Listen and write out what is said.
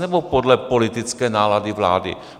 Nebo podle politické nálady vlády?